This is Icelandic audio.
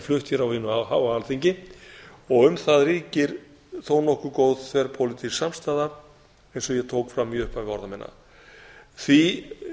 flutt á hinu háa alþingi og um það ríkir þó nokkuð góð þverpólitísk samstaða eins og ég tók fram í upphafi orða minna því